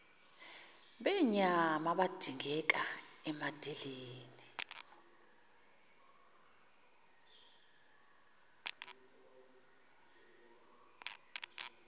benyama abadingeka emadeleni